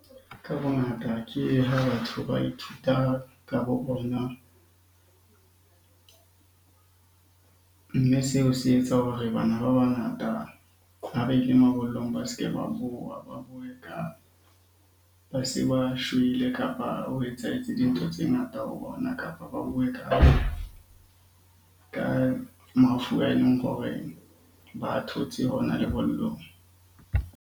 Ka bongata ke ha batho ba ithuta ka bo bona. Mme seo se etsa hore bana ba bangata ha ba ile mabollong ba se ke ba bua. Ba bue ka ba se ba shwele, kapa ho etsahetse dintho tse ngata ho bona, kapa ba bue ka mafu a eleng hore ba a thotse hona lebollong.